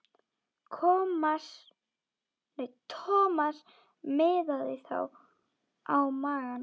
Thomas miðaði þá á magann.